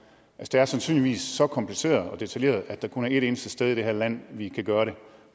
det er sandsynligvis så kompliceret og detaljeret at der kun er et eneste sted i det her land vi kan gøre det